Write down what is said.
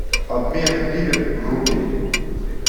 обмен гривен в рупии